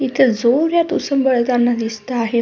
इथे जोरात उसून पडताना दिसत आहे.